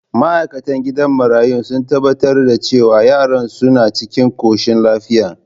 Ma’aikatan gidan marayun sun tabbatar da cewa yaran suna cikin koshin lafiya.